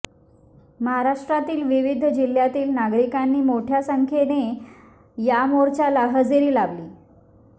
महाराष्ट्रातील विविध जिल्ह्यातील नागरिकांनी मोठ्या संख्येन या मोर्चाला हजेरी लावली